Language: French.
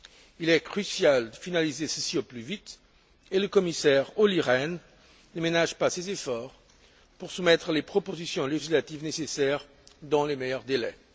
Il est crucial de finaliser ceci au plus vite, et le commissaire Olli Rehn ne ménage pas ses efforts pour soumettre les propositions législatives nécessaires dans les meilleurs délais.